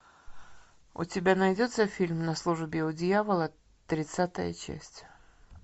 у тебя найдется фильм на службе у дьявола тридцатая часть